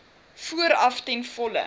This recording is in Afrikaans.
vooraf ten volle